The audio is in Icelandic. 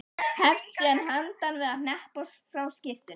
Hefst síðan handa við að hneppa frá skyrtunni.